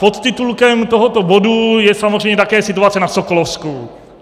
Podtitulkem tohoto bodu je samozřejmě také situace na Sokolovsku.